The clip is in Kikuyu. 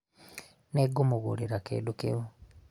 nĩngũmũgũrĩra kĩdũ kĩu